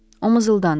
O mızıldandı.